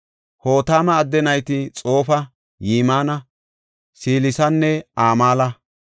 Hotama adde nayti Xoofa, Yimina, Selesanne Amala.